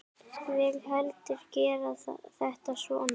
Vil heldur gera þetta svona.